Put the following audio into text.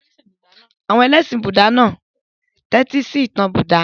Àwọn ẹlẹ́ṣin Búúdà náà tẹ́tísí ìtàn Buddha.